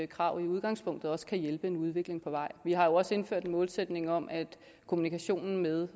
krav i udgangspunktet også kan hjælpe en udvikling på vej vi har jo også indført en målsætning om at kommunikationen med